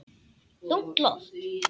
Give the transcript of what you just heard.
Þungt loft.